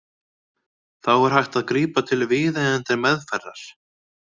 Þá er hægt að grípa til viðeigandi meðferðar.